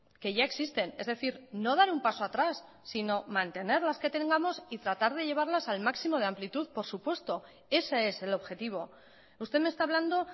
que ya existen es decir no dar un paso atrás sino mantener las que tengamos y tratar de llevarlas al máximo de amplitud por supuesto ese es el objetivo usted me está hablando